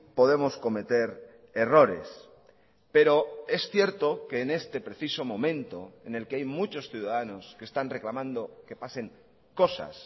podemos cometer errores pero es cierto que en este preciso momento en el que hay muchos ciudadanos que están reclamando que pasen cosas